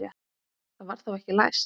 Það var þá ekki læst!